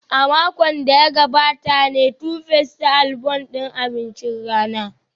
A makon da ya gabata ne Tuface ta album din abincin rana